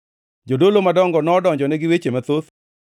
Jodolo madongo nodonjone gi weche mathoth.